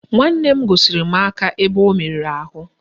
Nwanne m gosiri m aka ebe o merụrụ ahụ